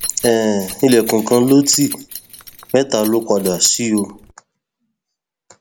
um ilẹkùn kan ló ti mẹta lọ padà sí o